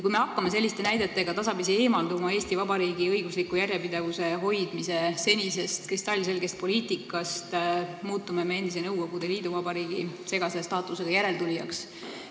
Kui me hakkame selliste näidetega tasapisi eemalduma Eesti Vabariigi õigusliku järjepidevuse hoidmise senisest kristallselgest poliitikast, siis muutume endise Nõukogude liiduvabariigi segase staatusega järeltulijaks.